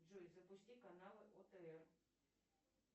джой запусти канал отр